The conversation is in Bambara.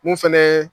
Mun fɛnɛ ye